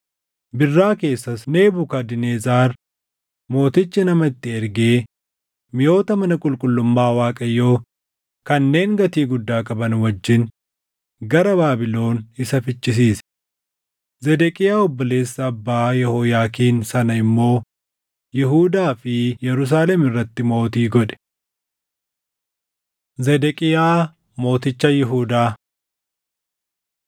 Birraa keessas Nebukadnezar Mootichi nama itti ergee miʼoota mana qulqullummaa Waaqayyoo kanneen gatii guddaa qaban wajjin gara Baabilon isa fichisiise; Zedeqiyaa obboleessa abbaa Yehooyaakiin sana immoo Yihuudaa fi Yerusaalem irratti mootii godhe. Zedeqiyaa Mooticha Yihuudaa 36:11‑16 kwf – 2Mt 24:18‑20; Erm 52:1‑3